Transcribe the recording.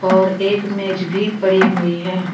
और एक मेज भी पड़ी हुई है।